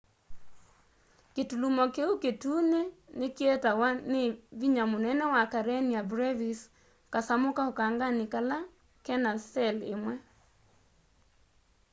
kĩtũlũmo kĩũ kĩtũnĩ nĩkĩetawa nĩ vĩnya mũnene wa karenia brevis kasamũ ka ũkanganĩ kena cell ĩmwe